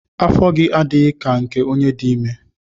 Afọ gị adịghị ka nke onye dị ime.